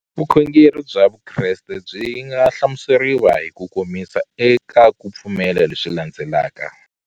Vukhongeri bya Vukreste byi nga hlamuseriwa hi kukomisa eka ku pfumela leswi landzelaka.